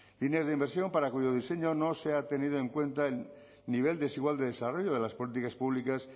líneas de inversión para cuyo diseño no se ha tenido en cuenta el nivel desigual de desarrollo de las políticas públicas